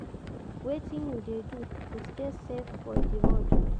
Wetin you dey do to stay safe for di road?